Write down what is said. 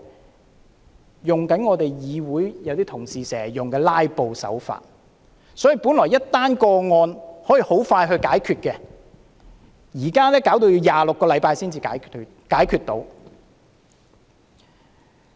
他們用我們議會一些同事經常使用的"拉布"手法，所以，一宗個案原本可以很快解決，但現在要26個星期才可以解決。